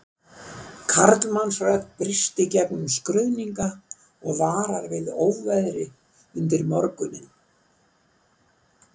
Karlmannsrödd brýst í gegnum skruðninga og varar við óveðri undir morguninn